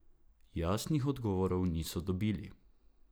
Jasnih odgovorov niso dobili.